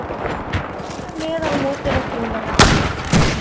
Ég hef spilað með og á móti nokkrum þeirra.